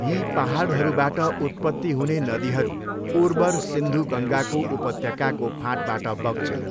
यी पाहाडहरूबाट उत्पत्ति हुने नदीहरू उर्वर सिन्धु गङ्गाको उपत्यकाको फाँटबाट बग्छन्।